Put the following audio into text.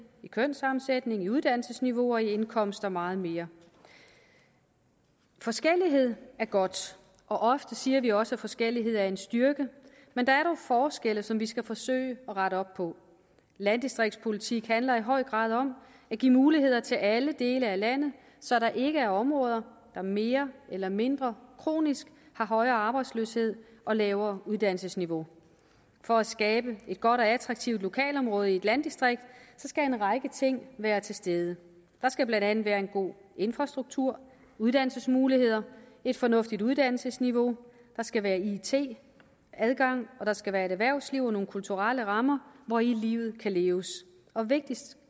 i kønssammensætning i uddannelsesniveau og i indkomst og meget mere forskellighed er godt og ofte siger vi også at forskellighed er en styrke men der er dog forskelle som vi skal forsøge at rette op på landdistriktspolitik handler i høj grad om at give muligheder til alle dele af landet så der ikke er områder der mere eller mindre kronisk har højere arbejdsløshed og lavere uddannelsesniveau for at skabe et godt og attraktivt lokalområde i et landdistrikt skal en række ting være til stede der skal blandt andet være en god infrastruktur uddannelsesmuligheder et fornuftigt uddannelsesniveau der skal være it adgang og der skal være et erhvervsliv og nogle kulturelle rammer hvori livet kan leves vigtigst